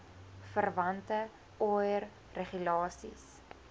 verwante oir regulasies